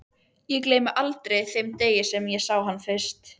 Ég gleymi aldrei þeim degi þegar ég sá hann fyrst.